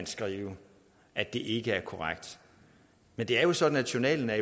skrives at det ikke er korrekt men det er jo sådan at journalen er